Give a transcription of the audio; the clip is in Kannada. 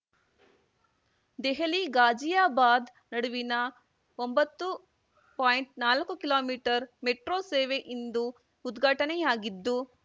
ದೆಹಲಿ ಘಾಜಿಯಾಬಾದ್ ನಡುವಿನ ಒಂಬತ್ತು ಪಾಯಿಂಟ್ನಾಕು ಕಿಲೋಮಿಟರ್ ಮೆಟ್ರೋ ಸೇವೆ ಇಂದು ಉದ್ಘಾಟನೆಯಾಗಿದ್ದು